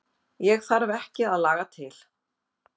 Ég þarf ekki að laga til.